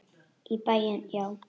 Í bæinn, já!